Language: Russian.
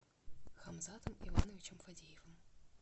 хамзатом ивановичем фадеевым